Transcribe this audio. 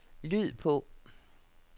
lyd på